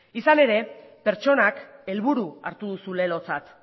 izan ere pertsonak helburu hartu duzu lelotzat